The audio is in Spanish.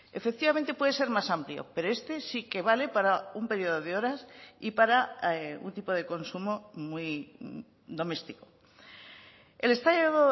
efectivamente puede ser más amplio pero este sí que vale para un periodo de horas y para un tipo de consumo muy doméstico el estado